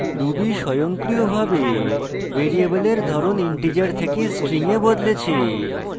ruby স্বয়ংক্রিয়ভাবে ভ্যারিয়েবলের ধরণ integer থেকে string এ বদলেছে